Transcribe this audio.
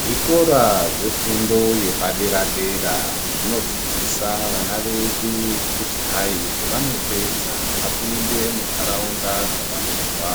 Zvikora zvefundo yepadera dera zvinodzidzisa vana vedu kuti hai pevanopedza vapinde muntaraunda dzavanobva